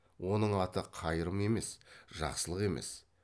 оның аты қайрым емес жақсылық емес